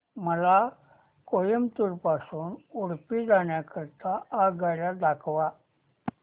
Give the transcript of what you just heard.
मला कोइंबतूर पासून उडुपी जाण्या करीता आगगाड्या दाखवा